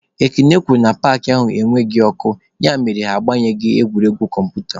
Ekene kwuru na paakị ahụ enweghị ọkụ ya mere na ha agbaghị egwuregwu kọmputa.